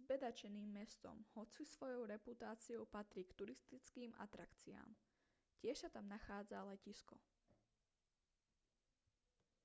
zbedačeným mestom hoci svojou reputáciou patrí k turistickým atrakciám tiež sa tam nachádza letisko